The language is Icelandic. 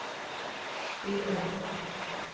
spyr Örn.